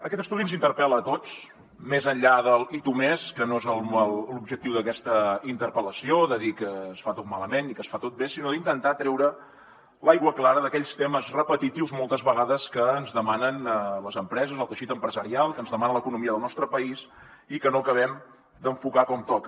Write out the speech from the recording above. aquest estudi ens interpel·la a tots més enllà de l’ i tu més que no és l’objectiu d’aquesta interpel·lació o de dir que es fa tot malament i que es fa tot bé sinó d’intentar treure l’aigua clara d’aquells temes repetitius moltes vegades que ens demanen les empreses el teixit empresarial que ens demana l’economia del nostre país i que no acabem d’enfocar com toca